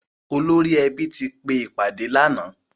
Olórí ẹbí ti pe ìpàdé lànáà.